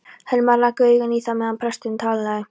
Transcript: Hermann rak augun í það meðan presturinn talaði.